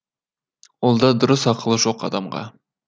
ол да дұрыс ақылы жоқ адамға